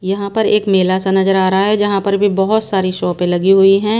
यहां पर एक मेला सा नजर आ रहा है जहां पर भी बहोत सारी शॉपै लगी हुई है।